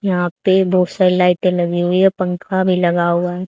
यहां पे बहुत सारी लाइटें लगी हुई है पंखा भी लगा हुआ है।